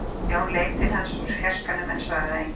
Jón leit til hans úr fjarskanum en svaraði engu.